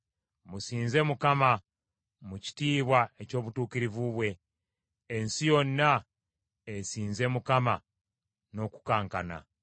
Musinze Mukama mu kitiibwa eky’obutuukirivu bwe. Ensi yonna esinze Mukama n’okukankana.